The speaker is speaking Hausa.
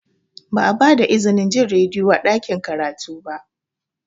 Ba a ba da izinin jin rediyo a cikin ɗakin karatu ba.